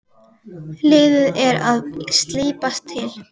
Liðið er að slípast til.